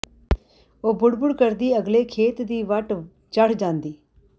ਉਹ ਬੁੜਬੁੜ ਕਰਦੀ ਅਗਲੇ ਖੇਤ ਦੀ ਵੱਟ ਚੜ੍ਹ ਜਾਂਦੀ